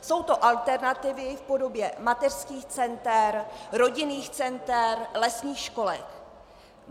Jsou to alternativy v podobě mateřských center, rodinných center, lesních školek.